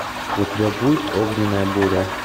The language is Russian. у тебя будет огненная буря